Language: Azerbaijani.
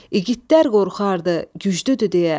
İgidlər qorxardı, güclüdür deyə.